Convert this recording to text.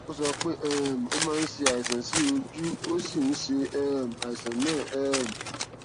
ó sọ pé um ó máa ń ṣe àìsàn sí ojú ó sì ń ṣe um àìsàn náà um